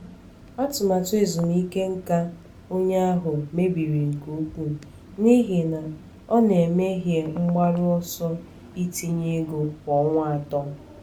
atụmatụ ezumike nká onye ahụ mebiri nke ukwuu n’ihi na ọ na-emehie mgbaru ọsọ itinye ego kwa ọnwa atọ.